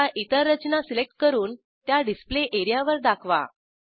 आता इतर रचना सिलेक्ट करून त्या डिस्प्ले एरियावर दाखवा